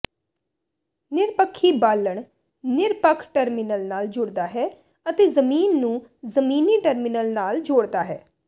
ਨਿਰਪੱਖੀ ਬਾਲਣ ਨਿਰਪੱਖ ਟਰਮੀਨਲ ਨਾਲ ਜੁੜਦਾ ਹੈ ਅਤੇ ਜ਼ਮੀਨ ਨੂੰ ਜਮੀਨੀ ਟਰਮੀਨਲ ਨਾਲ ਜੋੜਦਾ ਹੈ